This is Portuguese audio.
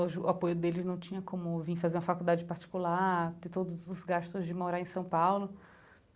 O apoio deles não tinha como vim fazer uma faculdade particular, ter todos os gastos de morar em São Paulo.